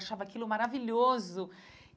Eu achava aquilo maravilhoso.